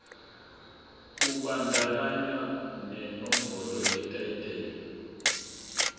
kubandakanya nenombolo yetayitela